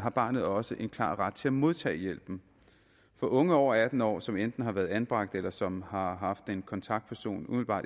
har barnet også en klar ret til at modtage hjælpen for unge over atten år som enten har været anbragt eller som har haft en kontaktperson umiddelbart